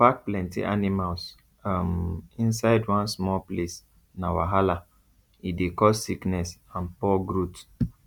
to pack plenty animals um inside one small place na wahala e dey cause sickness and poor growth